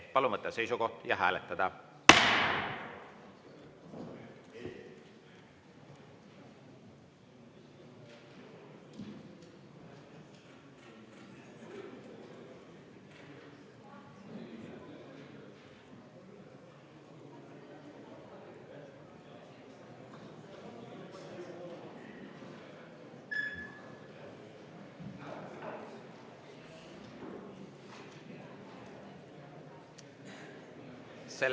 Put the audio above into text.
Palun võtta seisukoht ja hääletada!